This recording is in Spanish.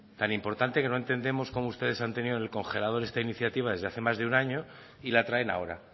tan importante que no entendemos cómo ustedes han tenido en el congelador esta iniciativa desde hace más de un año y la traen ahora